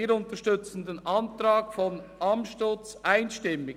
Wir unterstützen den Antrag Amstutz einstimmig.